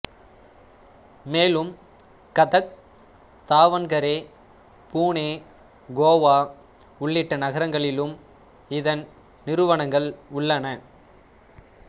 மேலும் கதக் தாவண்கரே புனே கோவா உள்ளிட்ட நகரங்களிலும் இதன் நிறுவனங்கள் உள்ளன